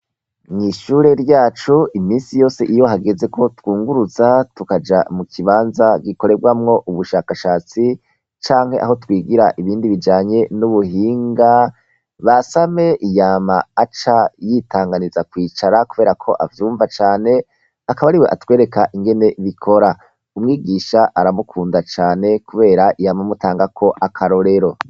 Mu ishure ryacu iminsi yose iyo hageze ko twungurutsa tukaja mu kibanza gikorerwamwo ubushakashatsi canke aho twigira ibindi bijanye n'ubuhinga basame iyama aca yitanganiza kwicara kubera ko avyumva cane akaba ariwe atwereka ingene bikora .Umwigisha aramukunda cane kubera iyama mutanga ko akarorero.